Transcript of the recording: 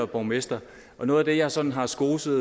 borgmester og noget af det jeg sådan har skoset